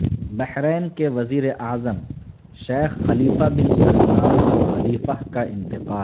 بحرین کے وزیر اعظم Sheikh Khalifa bin Salman Al Khalifa کا انتقال